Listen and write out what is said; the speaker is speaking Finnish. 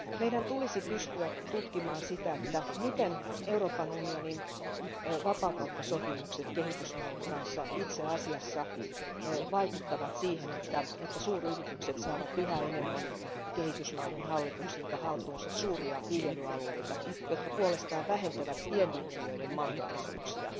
Meidän tulisi pystyä tutkimaan sitä, miten Euroopan unionin vapaakauppasopimukset kehitysmaiden kanssa itse asiassa vaikuttavat siihen, että suuryritykset saavat yhä enemmän kehitysmaiden hallituksilta haltuunsa suuria viljelyalueita, jotka puolestaan vähentävät pienviljelijöiden mahdollisuuksia.